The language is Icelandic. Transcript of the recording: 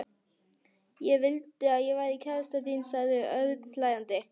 Ekki vildi ég vera kærastan þín sagði Örn hlæjandi.